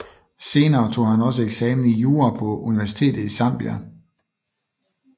Senere tog han også eksamen i jura på Universitetet i Zambia